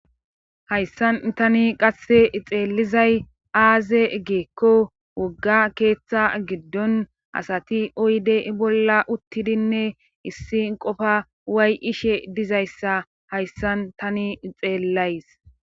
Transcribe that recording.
Hayssan tani qasse xeelizay aaze geekko wogga keeththa giddon asati oyde bolla uttidinne issi qofa way ishe dizayssa hayssan tani xeellays.